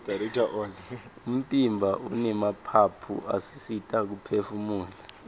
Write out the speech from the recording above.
umtimba unemaphaphu asisita kuphefumula